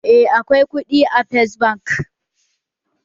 Eh, akwai kuɗi a first bank